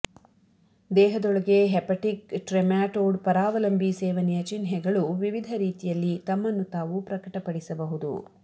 ದೇಹದೊಳಗೆ hepatic trematode ಪರಾವಲಂಬಿ ಸೇವನೆಯ ಚಿಹ್ನೆಗಳು ವಿವಿಧ ರೀತಿಯಲ್ಲಿ ತಮ್ಮನ್ನು ತಾವು ಪ್ರಕಟಪಡಿಸಬಹುದು